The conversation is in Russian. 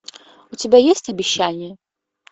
у тебя есть обещание